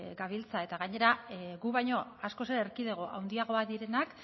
gabiltza eta gainera gu baino askoz ere erkidego handiagoak direnak